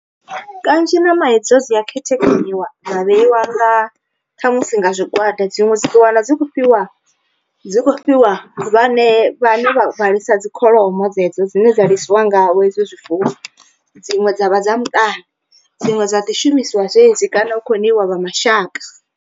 Kanzhi ṋama hedzo dzi a khethekanyiwa dza vheiwa nga khamusi nga zwigwada dziṅwe dzi ṱuwa na dzi kho fhiwa dzi kho fhiwa vhane vhane vha lisa dzikholomo dzedzo dzine dza ḽisiwa ngavho ezwo zwifuwo, dziṅwe dza vha dza muṱani dziṅwe dza ḓi shumisiwa dzedzi kana hu khou ṋeiwa vha mashaka.